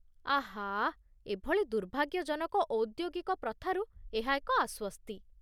ଆଃ! ଏଭଳି ଦୁର୍ଭାଗ୍ୟଜନକ ଔଦ୍ୟୋଗିକ ପ୍ରଥାରୁ ଏହା ଏକ ଆସ୍ୱସ୍ତି।